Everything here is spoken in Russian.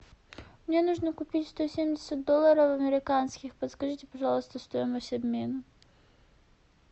мне нужно купить сто семьдесят долларов американских подскажите пожалуйста стоимость обмена